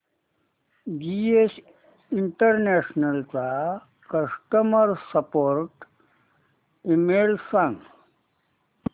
GS international चा customer support email सांग